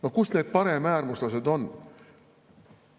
No kus need paremäärmuslased on?